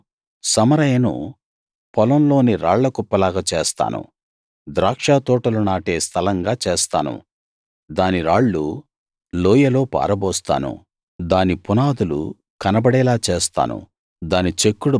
నేను సమరయను పొలం లోని రాళ్లకుప్పలాగా చేస్తాను ద్రాక్షతోటలు నాటే స్థలంగా చేస్తాను దాని రాళ్ళు లోయలో పారబోస్తాను దాని పునాదులు కనబడేలా చేస్తాను